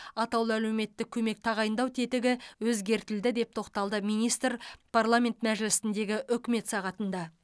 атаулы әлеуметтік көмек тағайындау тетігі өзгертілді деп тоқталды министр парламент мәжілісіндегі үкімет сағатында